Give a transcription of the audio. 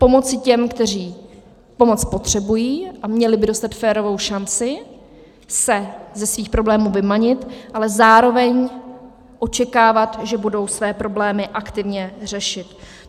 Pomoci těm, kteří pomoc potřebují a měli by dostat férovou šanci se ze svých problémů vymanit, ale zároveň očekávat, že budou své problémy aktivně řešit.